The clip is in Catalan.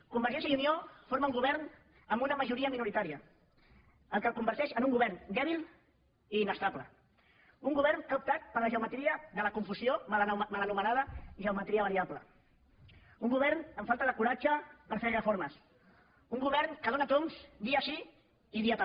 convergència i unió forma un govern amb una majoria minoritària la qual cosa el converteix en un govern dèbil i inestable un govern que ha optat per la geometria de la confusió mal anomenada geometria variable un govern amb falta de coratge per fer reformes un govern que dóna tombs dia sí i dia també